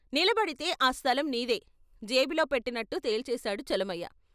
నిలబడితే ఆ స్థలం నీదే ' జేబులో పెట్టినట్లు తేల్చేశాడు చలమయ్య.